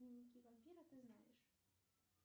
дневники вампира ты знаешь